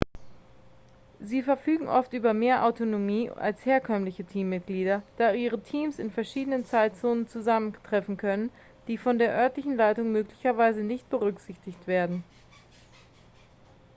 sie verfügen oft über mehr autonomie als herkömmliche teammitglieder da ihre teams in verschiedenen zeitzonen zusammentreffen können die von der örtlichen leitung möglicherweise nicht berücksichtigt werden